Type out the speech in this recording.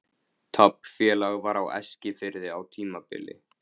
Taflfélag var á Eskifirði á tímabili.